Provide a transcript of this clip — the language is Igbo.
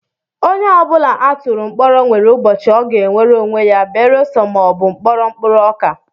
Onye ọ bụla a tụrụ mkpọrọ nwere ubochi ọ ga-enwere onwe ya beresọ ma ọ bụ mkpọrọ mkpụrụ ọka